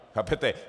Chápete?